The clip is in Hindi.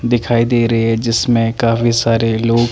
दिखाई देरे है जिसमे काफी सारे लोग--